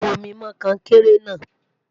bù omi mọ konkere na